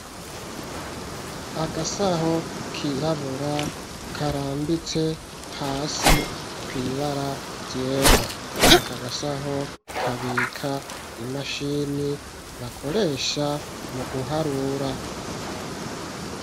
Agasaho kirabura karambitse hasi kwibara ryera akagasaho kabika imashini bakoresha mu guharura.